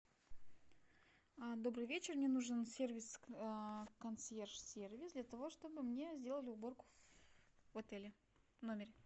добрый вечер мне нужен сервис консьерж сервис для того чтобы мне сделали уборку в отеле в номере